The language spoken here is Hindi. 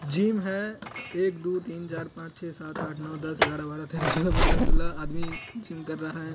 जिम है। एक दू तीन चार पांच छे सात आठ नौ दस ग्यारह बारह तेरह चौदह पंद्रह सोलह आदमी जिम कर रहा है।